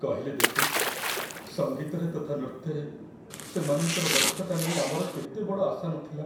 କହିଲେ ଦେଖି, ସଙ୍ଗୀତରେ ତଥା ନୃତ୍ୟରେ ସେମାନଙ୍କର ଦକ୍ଷତା ନେଇ ଆମର କେତେ ବଡ଼ ଆଶା ନଥିଲା!